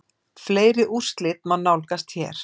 Fleiri úrslit má nálgast hér